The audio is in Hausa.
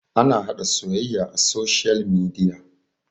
ana haɗa soyayya a soshiyal midia